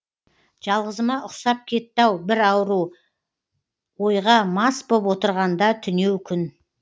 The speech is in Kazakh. жалғызыма ұқсап кетті ау бір ауру ойға мас боп отырғанда түнеу күн